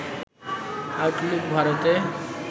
Outlook ভারতে